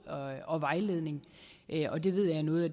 og vejledning og det ved jeg er noget af